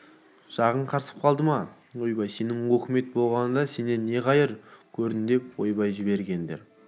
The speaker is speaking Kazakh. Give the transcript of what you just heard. жағың қарысып қалды ма ойбай сенің өкімет болғанда сенен не қайыр көрдім мен ойбай жіберіңдер